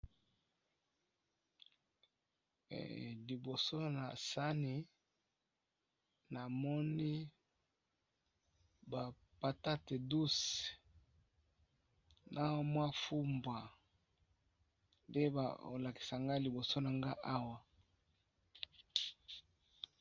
Liboso na sani na moni bapatate na mwa fumbwa nde bolakisa nga liboso na nga awa.